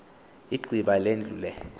igqiba indlu le